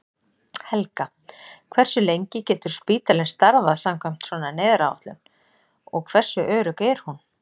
Helga: Hversu lengi getur spítalinn starfað samkvæmt svona neyðaráætlun og hversu örugg er hún?